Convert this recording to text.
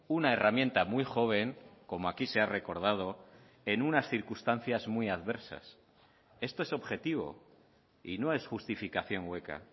una herramienta muy joven como aquí se ha recordado en unas circunstancias muy adversas esto es objetivo y no es justificación hueca